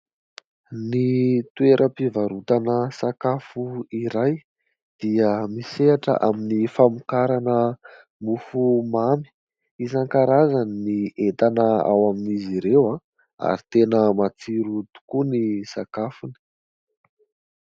Ny toeram-pivarotana sakafo iray dia misehatra amin'ny famokarana mofomamy, isan-karazany ny entana ao amin'izy ireo a ary tena matsiro tokoa ny sakafony.